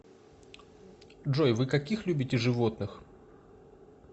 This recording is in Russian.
джой вы каких любите животных